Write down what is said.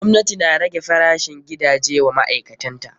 Gwamnati na rage farashin gidaje wa ma'aikatan ta.